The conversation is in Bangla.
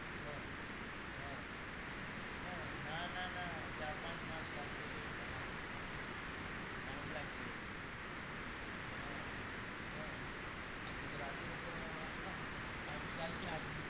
হ্যাঁ হ্যাঁ হ্যাঁ, না না না চার পাঁচ মাস লাগবে . time লাগবে হ্যাঁ হ্যাঁ গুজরাটিতে তো এক সাল লাগবে